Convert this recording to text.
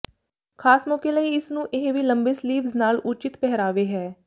ਖਾਸ ਮੌਕੇ ਲਈ ਇਸ ਨੂੰ ਇਹ ਵੀ ਲੰਬੇ ਸਲੀਵਜ਼ ਨਾਲ ਉੱਚਿਤ ਪਹਿਰਾਵੇ ਹੈ